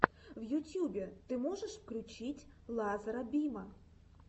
в ютьюбе ты можешь включить лазара бима